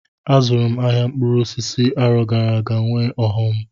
Azụrụ m ahịa mkpụrụ osisi arọ gara aga nwee ọghọm.